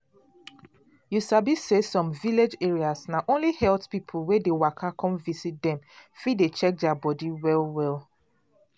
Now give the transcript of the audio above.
you sabi say some village areas na only health people wey dey waka come visit dem fit dey check their body well well.